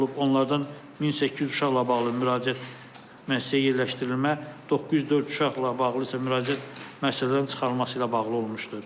Onlardan 1800 uşaqla bağlı müraciət müəssisəyə yerləşdirilmə, 904 uşaqla bağlı isə müraciət müəssisələrdən çıxarılması ilə bağlı olmuşdur.